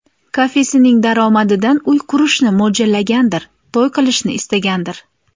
Kafesining daromadidan uy qurishni mo‘ljallagandir, to‘y qilishni istagandir.